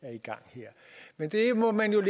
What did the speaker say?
er i gang her men det må man jo